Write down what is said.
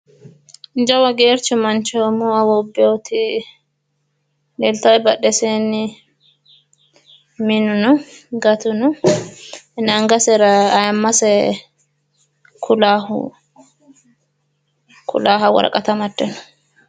Jawa geercho umo awuubbewoti lelyawoe badheseenni minu no gatu no. Angasera ayimmase kulaahu kulaaha woraqata amadde no.